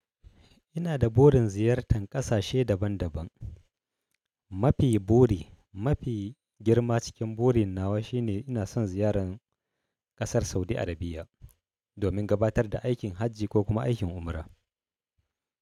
Ina da burin ziyartan ƙasashe daban daban. Mafi buri, mafi girma cikin burin nawa shine ina son ziyaran kasar Saudi Arabiya domin gabatar da aikin hajji ko kuma aikin umra.